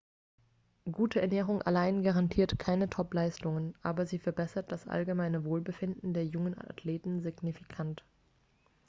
gute ernährung allein garantiert keine topleistungen aber sie verbessert das allgemeine wohlbefinden der jungen athleten signifikant